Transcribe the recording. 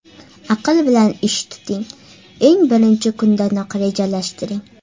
Aql bilan ish tuting: eng birinchi kundanoq rejalashtiring.